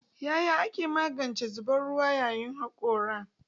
Yaya ake magance zubar ruwa yayin hakora?